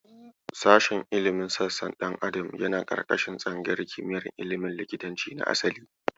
Sashen ilimin sassan ɗan adam yana ƙarƙashin tsangayar kimiyar ilimin likitanci na asali.